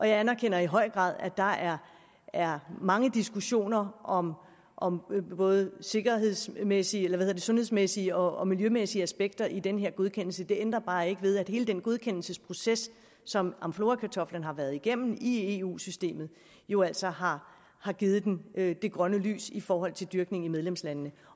jeg anerkender i høj grad at der er er mange diskussioner om om både sundhedsmæssige sundhedsmæssige og miljømæssige aspekter i den her godkendelse det ændrer bare ikke ved at hele den godkendelsesproces som amflorakartoflen har været igennem i eu systemet jo altså har har givet den det grønne lys i forhold til dyrkning i medlemslandene